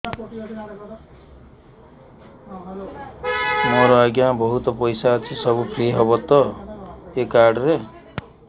ମୋର ଆଜ୍ଞା ବହୁତ ପଇସା ଅଛି ସବୁ ଫ୍ରି ହବ ତ ଏ କାର୍ଡ ରେ